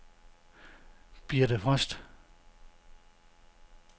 Birthe Frost